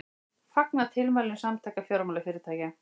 Fagna tilmælum Samtaka fjármálafyrirtækja